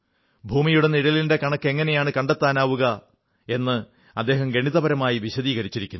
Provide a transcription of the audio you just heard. ഭൂമിയുടെ നിഴലിന്റെ കണക്ക് എങ്ങനെയാണ് കണ്ടെത്താനാവുക എന്ന് അദ്ദേഹം ഗണിതപരമായി വിശദീകരിച്ചിരിക്കുന്നു